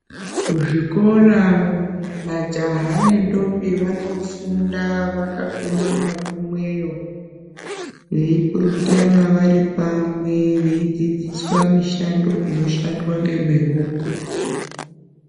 Kuzvikora majaha nendombi vanofunda vakakumana kumweyo, veyipurutana vari pamwe, veyi dzidziswa mishando inoshandwa ngemihoko.